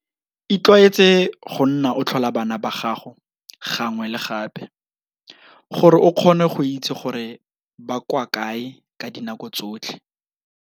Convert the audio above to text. Itlwaetse go nna o tlhola bana ba gago gangwe le gape, gore o kgone go itse gore ba kwa kae ka dinako tsotlhe.